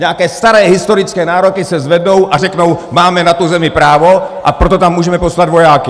Nějaké staré historické nároky se zvednou a řeknou: Máme na tu zemi právo, a proto tam můžeme poslat vojáky!